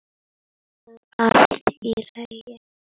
Var það allt í lagi?